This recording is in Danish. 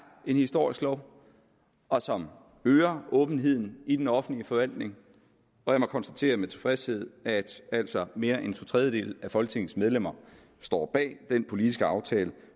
en historisk lov og som øger åbenheden i den offentlige forvaltning jeg må konstatere med tilfredshed at altså mere end to tredjedele af folketingets medlemmer står bag den politiske aftale